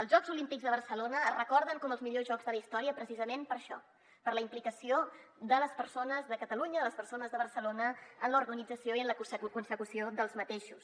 els jocs olímpics de barcelona es recorden com els millors jocs de la història precisament per això per la implicació de les persones de catalunya de les persones de barcelona en l’organització i en la consecució dels mateixos